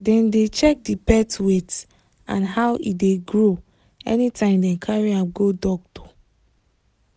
dem dey check the pet weight and how e dey grow anytime dem carry am go doctor